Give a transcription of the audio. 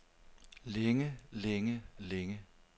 længe længe længe